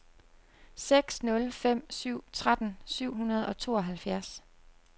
seks nul fem syv tretten syv hundrede og tooghalvfjerds